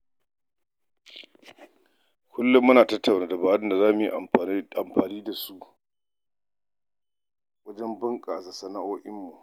Kullum muna tattauna dabarun da za mu yi amfani da su wajen bunƙasa sana’o’inmu.